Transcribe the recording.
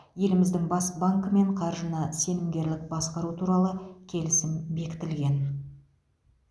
еліміздің бас банкімен қаржыны сенімгерлік басқару туралы келісім бекітілген